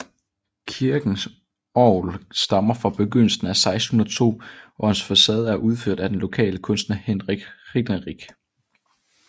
Kirkens orgel stammer fra begyndelsen af 1602 og dets facade er udført af den lokale kunstner Hinrich Ringerinck